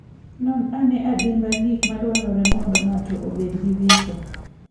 Non ane adimba gik madwarore mondo ng'ato obed gi visa.